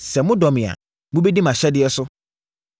“Sɛ modɔ me a, mobɛdi mʼahyɛdeɛ so.